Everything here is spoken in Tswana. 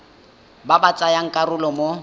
ba ba tsayang karolo mo